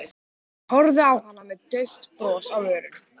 Horfði á hana með dauft bros á vörunum.